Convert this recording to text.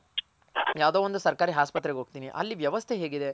ಯಾವ್ದೋ ಒಂದ್ ಸರ್ಕಾರಿ ಆಸ್ಪತ್ರೆಗ್ ಹೋಗ್ತೀನಿ ಅಲ್ಲಿ ವ್ಯವಸ್ಥೆ ಹೇಗಿದೆ